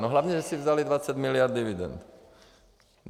No hlavně že si vzali 20 miliard dividend.